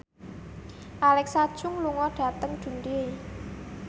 Alexa Chung lunga dhateng Dundee